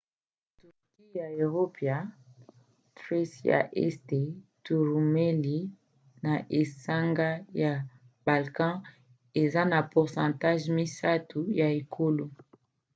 turquie ya eropa thrace ya este to roumélie na esanga ya balkan eza na 3% ya ekolo